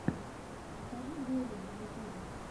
покажи гэри на ютубе